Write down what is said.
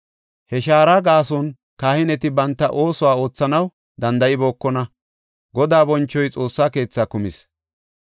He shaara gaason kahineti banta oosuwa oothanaw danda7ibookona; Godaa bonchoy Xoossa keetha kumis.